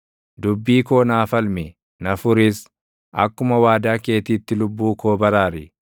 Dubbii koo naa falmi; na furis; akkuma waadaa keetiitti lubbuu koo baraari.